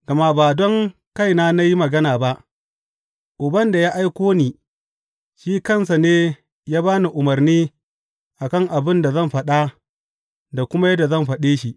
Gama ba don kaina na yi magana ba, Uban da ya aiko ni shi kansa ne ya ba ni umarni a kan abin da zan faɗa da kuma yadda zan faɗe shi.